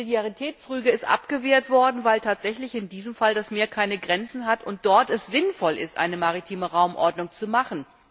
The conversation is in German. Eine Subsidiaritätsrüge ist abgewehrt worden, weil tatsächlich in diesem Fall das Meer keine Grenzen hat und es dort sinnvoll ist, eine maritime Raumordnung zu machen.